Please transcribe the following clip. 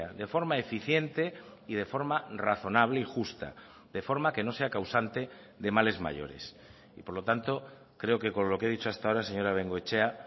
de forma eficiente y de forma razonable y justa de forma que no sea causante de males mayores y por lo tanto creo que con lo que he dicho hasta ahora señora bengoechea